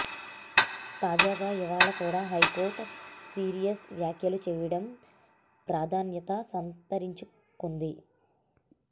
తాజాగా ఇవాళ కూడ హైకోర్టు సీరియస్ వ్యాఖ్యలు చేయడం ప్రాధాన్యత సంతరించుకొంది